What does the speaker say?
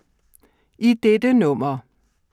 I dette nummer